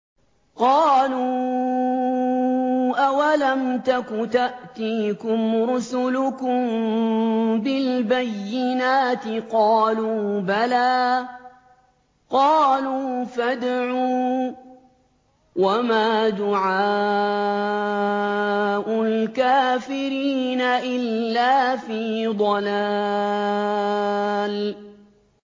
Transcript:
قَالُوا أَوَلَمْ تَكُ تَأْتِيكُمْ رُسُلُكُم بِالْبَيِّنَاتِ ۖ قَالُوا بَلَىٰ ۚ قَالُوا فَادْعُوا ۗ وَمَا دُعَاءُ الْكَافِرِينَ إِلَّا فِي ضَلَالٍ